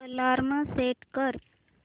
alarm set कर